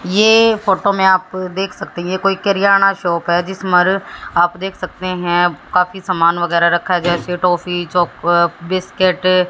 ये फोटो में आप देख सकते है ये कोई कीरियाना शॉप है जिस मर आप देख सकते हैं काफी सामान वगैरह रखा गया है जैसे टाफी चॉकलेट बिस्किट--